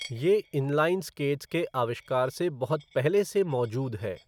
ये inline skates के आविष्कार से बहुत पहले से मौजूद है।